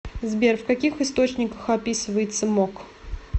сбер в каких источниках описывается мок